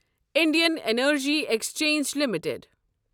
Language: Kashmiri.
Indian energy exchange limited